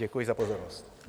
Děkuji za pozornost.